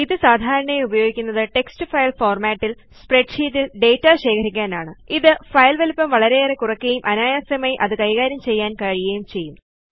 ഇത് സാധാരണയായി ഉപയോഗിക്കുന്നത് ടെക്സ്റ്റ് ഫയൽ ഫോർമാറ്റിൽ സ്പ്രെഡ്ഷീറ്റിൽ ഡാറ്റ ശേഖരിക്കാനാണ് ഇത് ഫയൽ വലിപ്പം വളരെയേറെ കുറയ്ക്കുകയും അനായാസമായി അത് കൈകാര്യം ചെയ്യാൻ അവസരം ലഭിക്കുകയും ചെയ്യും